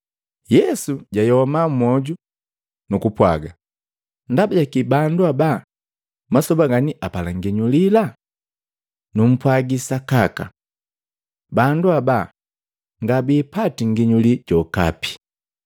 Yesu jwayoma mmoju, nukupwaga, “Ndaba jaki bandu ba masoba gani apala nginyulila? Numpwagi sakaka! Bandu habaa ngabiipati nginyuli jokape.”